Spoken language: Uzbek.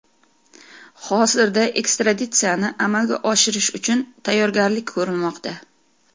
Hozirda ekstraditsiyani amalga oshirish uchun tayyorgarlik ko‘rilmoqda.